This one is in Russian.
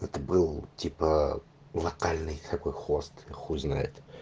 это был типа локальный такой хвост хуй знает